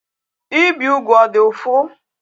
Ibi ugwu ọ dị ụfụ?